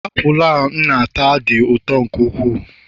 apụl a m na-ata dị ụtọ nke ukwuu